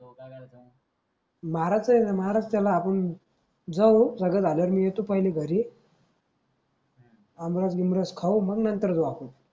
मारायच आहे मारायच त्याला आपण जाऊ सगळं झाल्यावर मी पहिले येतो घरी आमरस गिमर्स खाऊ मग नंतर जाऊ आपण